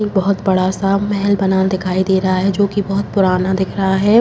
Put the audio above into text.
बहोत बड़ा सा महल बना दिखाई दे रहा है जो कि बहोत पुराना दिख रहा है।